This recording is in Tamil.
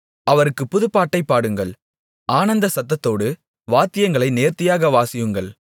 அவருக்குப் புதுப்பாட்டைப் பாடுங்கள் ஆனந்த சத்தத்தோடு வாத்தியங்களை நேர்த்தியாக வாசியுங்கள்